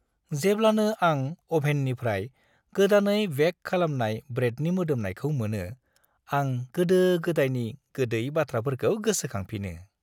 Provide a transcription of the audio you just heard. जेब्लानो आं अभेननिफ्राय गोदानै बेक खालामनाय ब्रेडनि मोदोमनायखौ मोनो, आं गोदो-गोदायनि गोदै बाथ्राफोरखौ गोसखांफिनो।